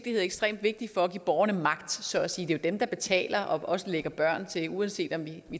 er ekstremt vigtig for at give borgerne magt så at sige det er jo dem der betaler og også lægger børn til uanset om vi